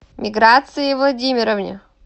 миграции владимировне